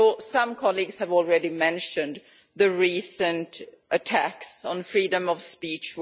Some colleagues have already mentioned the recent attacks on freedom of speech.